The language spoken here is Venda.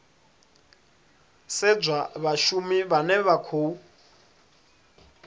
sedzwa vhashumi vhane vha khou